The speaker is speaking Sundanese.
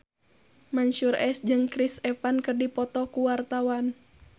Mansyur S jeung Chris Evans keur dipoto ku wartawan